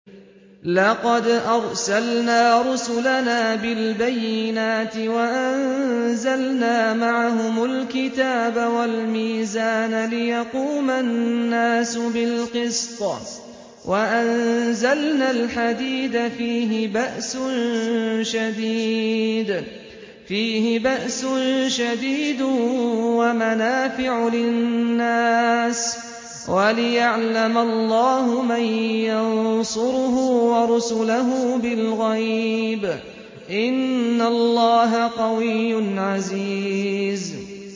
لَقَدْ أَرْسَلْنَا رُسُلَنَا بِالْبَيِّنَاتِ وَأَنزَلْنَا مَعَهُمُ الْكِتَابَ وَالْمِيزَانَ لِيَقُومَ النَّاسُ بِالْقِسْطِ ۖ وَأَنزَلْنَا الْحَدِيدَ فِيهِ بَأْسٌ شَدِيدٌ وَمَنَافِعُ لِلنَّاسِ وَلِيَعْلَمَ اللَّهُ مَن يَنصُرُهُ وَرُسُلَهُ بِالْغَيْبِ ۚ إِنَّ اللَّهَ قَوِيٌّ عَزِيزٌ